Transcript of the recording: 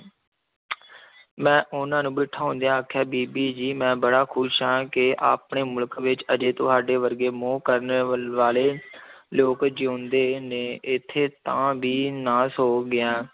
ਮੈਂ ਉਹਨਾਂ ਨੂੰ ਬਿਠਾਉਂਦਿਆਂ ਆਖਿਆ, ਬੀਬੀ ਜੀ ਮੈਂ ਬੜਾ ਖ਼ੁਸ਼ ਹਾਂ ਕਿ ਆਪਣੇ ਮੁਲਕ ਵਿੱਚ ਅਜੇ ਤੁਹਾਡੇ ਵਰਗੇ ਮੋਹ ਕਰਨ ਵਲ ਵਾਲੇ ਲੋਕ ਜਿਉਂਦੇ ਨੇ, ਇੱਥੇ ਤਾਂ ਵਿਨਾਸ ਹੋ ਗਿਆ।